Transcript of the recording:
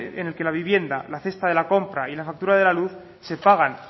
en el que la vivienda la cesta de la compra y la factura de la luz se pagan